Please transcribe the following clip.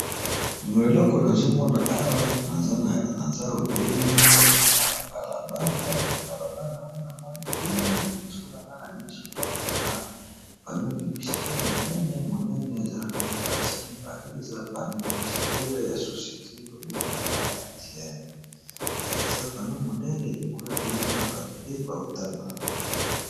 Eloko nazomona awa, naza obele na balabala namoni kuna liboso na nga na miso nazomona panneau publicitaire monene , eza na kati basi mibale eza paneau publicitaires ya societe ba bengaka mtn , kuna pe nazomona batu pe bazotambo na bango.